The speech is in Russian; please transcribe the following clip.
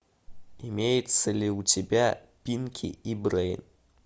имеется ли у тебя пинки и брейн